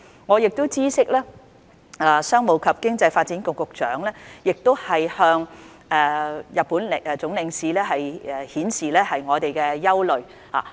我亦知悉，商務及經濟發展局局長已向日本駐港總領事表達我們的憂慮。